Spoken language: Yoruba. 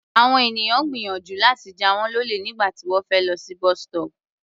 Àwọn ènìyàn gbìyànjú láti jà wọ́n lólè nígbà tí wọ́n fẹ́ lọ sí bus-stop.